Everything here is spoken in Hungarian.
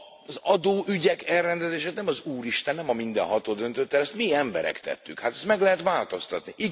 Az adóügyek elrendezését nem az Úristen, nem a Mindenható döntötte el, ezt mi emberek tettük, hát ezt meg lehet változtatni.